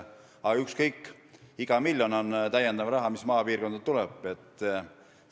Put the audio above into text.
Aga ükskõik, iga miljon, mis maapiirkonda tuleb, on lisaraha.